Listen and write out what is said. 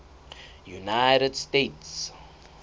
united states